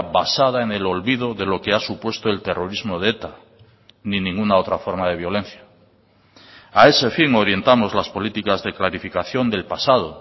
basada en el olvido de lo que ha supuesto el terrorismo de eta ni ninguna otra forma de violencia a ese fin orientamos las políticas de clarificación del pasado